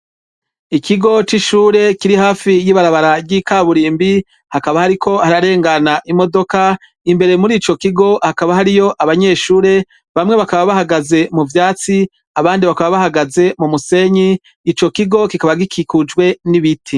Ikigo c'ishure kiri hafi y'ibarabara ry'ikaburimbi hakaba hariko hararengana imodoka. Imbere muri ico kigo hakaba hariyo abanyeshure bamwe bakaba bahagaze mu vyatsi abandi bakaba bahagaze mu musenyi; ico kigo kikaba gikikujwe n'ibiti.